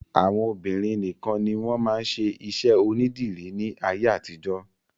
Àwọn obìnrin nìkan ni wọ́n máa ń ṣe iṣẹ́ onídìrí ní ayé àtijọ́.